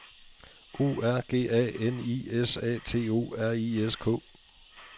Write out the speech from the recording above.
O R G A N I S A T O R I S K